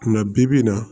Kunna bi bi in na